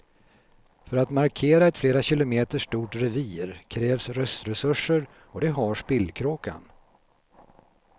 För att markera ett flera kilometer stort revir krävs röstresurser och det har spillkråkan.